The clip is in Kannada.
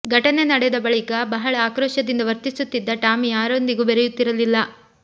ಘಟನೆ ನಡೆದ ಬಳಿಕ ಬಹಳ ಆಕ್ರೋಶದಿಂದ ವರ್ತಿಸುತ್ತಿದ್ದ ಟಾಮಿ ಯಾರೊಂದಿಗೂ ಬೆರೆಯುತ್ತಿರಲಿಲ್ಲ